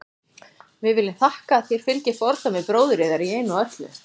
Við viljum að þér fylgið fordæmi bróður yðar í einu og öllu.